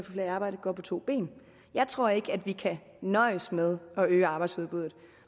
flere i arbejde går på to ben jeg tror ikke vi kan nøjes med at øge arbejdsudbuddet